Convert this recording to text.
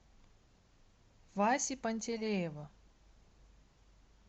васи пантелеева